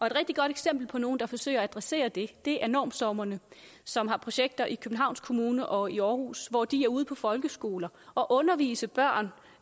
et rigtig godt eksempel på nogle der forsøger at adressere det er normstormerne som har projekter i københavns kommune og i aarhus hvor de er ude på folkeskoler og underviser børn